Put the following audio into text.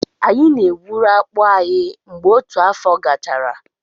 Anyị na-egwuru akpụ anyị mgbe otu afọ gachara.